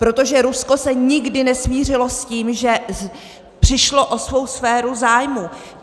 Protože Rusko se nikdy nesmířilo s tím, že přišlo o svou sféru zájmů.